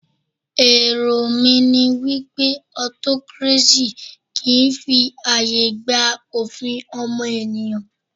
Èrò mí ní wípé autocracy kìí fi ààyè gba òfin ọmọnìyàn.